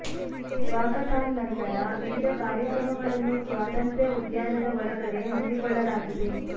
walkathon ನಂತರ ವಿವಿಧ ಕಾರ್ಯಕ್ರಮಗಳನ್ನು ಸ್ವಾತಂತ್ರ್ಯ ಉದ್ಯಾನದ ಒಳಗಡೆ ಹಮ್ಮಿ ಕೊಳ್ಳಲಾಗಿದೆ